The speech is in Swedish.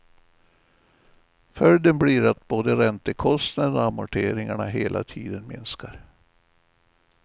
Följden blir att både räntekosnaden och amorteringarna hela tiden minskar.